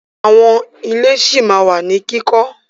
Àwọn ilé ṣí ma wà ní kíkọ́.